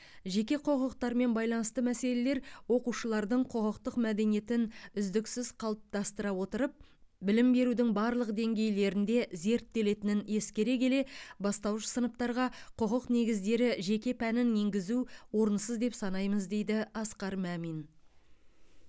жеке құқықтармен байланысты мәселелер оқушылардың құқықтық мәдениетін үздіксіз қалыптастыра отырып білім берудің барлық деңгейлерінде зерттелетінін ескере келе бастауыш сыныптарға құқық негіздері жеке пәнін енгізу орынсыз деп санаймыз дейді асқар мәмин